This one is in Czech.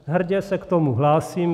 Hrdě se k tomu hlásím.